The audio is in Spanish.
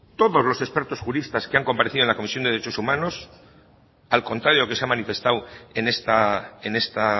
todos los expertos juristas que han comparecido en la comisión de derechos humanos al contrario de lo que se ha manifestado en esta